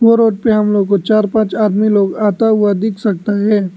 और रोड पे हम लोग को चार पांच आदमी लोग आता हुआ दिख सकता है।